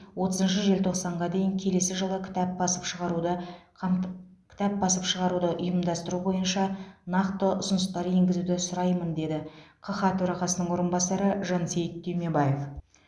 отызыншы желтоқсанға дейін келесі жылы кітап басып шығаруды қамт кітап басып шығаруды ұйымдастыру бойынша нақты ұсыныстар енгізуді сұраймын деді қха төрағасының орынбасары жансейіт түймебаев